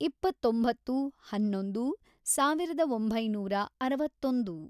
ಇಪ್ಪತ್ತೊಂಬತ್ತು, ಹನ್ನೊಂದು, ಸಾವಿರದ ಒಂಬೈನೂರ ಅರವತ್ತೊಂದು